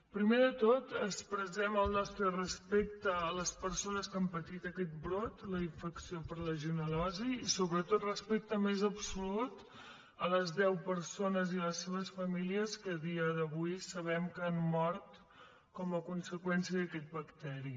primer de tot expressem el nostre respecte a les per·sones que han patit aquest brot la infecció per legionel·losi i sobretot el respecte més absolut a les deu perso·nes i les seves famílies que a dia d’avui sabem que han mort com a conseqüència d’aquest bacteri